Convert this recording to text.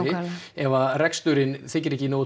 ef reksturinn er ekki